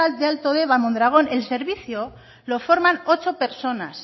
de alto deba mondragón el servicio lo forman ocho personas